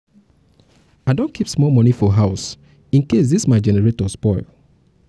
i um don keep small moni for house incase dis um my generator um spoil.